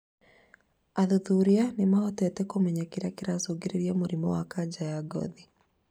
Athuthuria nw mahotete kũmenya kĩrĩa kĩracungĩrĩrria mũrimũ wa kanja wa ngothi